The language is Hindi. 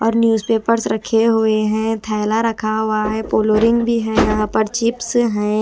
और न्यूजपेपर रखे हुए है। थैला रखा हुआ हैं। पोलोरिंग भी यहां पर चिप्स हैं।